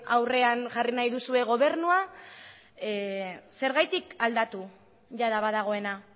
aurrean jarri nahi duzuen gobernua zergatik aldatu jada badagoena